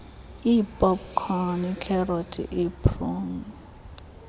iipopkhoni iikherothi iipruni